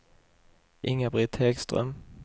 Inga-Britt Häggström